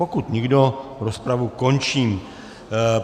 Pokud nikdo, rozpravu končím.